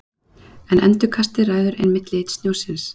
En endurkastið ræður einmitt lit snjósins.